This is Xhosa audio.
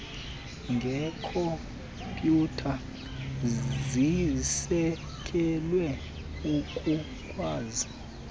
ngeekhompyutha zisekelwe ukukwazi